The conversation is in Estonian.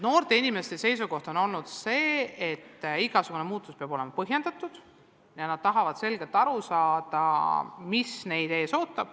Noorte inimeste seisukoht on olnud, et igasugune muutus peab olema põhjendatud ja nad tahavad selgelt aru saada, mis neid ees ootab.